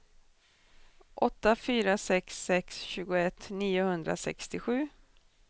åtta fyra sex sex tjugoett niohundrasextiosju